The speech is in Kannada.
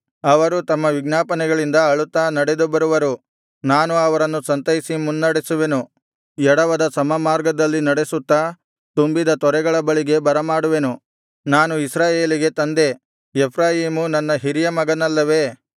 ಅವರು ತಮ್ಮ ವಿಜ್ಞಾಪನೆಗಳಿಂದ ಅಳುತ್ತಾ ನಡೆದು ಬರುವರು ನಾನು ಅವರನ್ನು ಸಂತೈಸಿ ಮುನ್ನಡೆಸುವೆನು ಎಡವದ ಸಮಮಾರ್ಗದಲ್ಲಿ ನಡೆಸುತ್ತಾ ತುಂಬಿದ ತೊರೆಗಳ ಬಳಿಗೆ ಬರಮಾಡುವೆನು ನಾನು ಇಸ್ರಾಯೇಲಿಗೆ ತಂದೆ ಎಫ್ರಾಯೀಮು ನನ್ನ ಹಿರಿಯ ಮಗನಲ್ಲವೆ